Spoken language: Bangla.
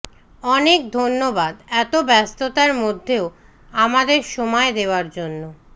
অনেক ধন্যবাদ এত ব্যস্ততার মধ্যেও আমাদের সময় দেওয়ার জন্য